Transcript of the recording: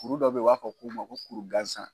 Kuru dɔ bɛ ye o b'a fɔ k'u ma ko kuru gansan.